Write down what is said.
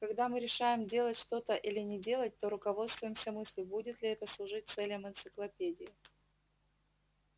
когда мы решаем делать что-то или не делать то руководствуемся мыслью будет ли это служить целям энциклопедии